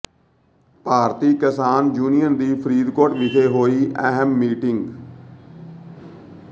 ਭਾਰਤੀ Kisan Union ਦੀ ਫਰੀਦਕੋਟ ਵਿਖੇ ਹੋਈ ਅਹਿਮ ਮੀਟਿੰਗ